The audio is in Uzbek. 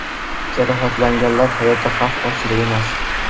Jarohatlanganlar hayoti xavf ostida emas.